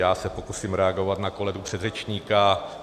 Já se pokusím reagovat na kolegu předřečníka.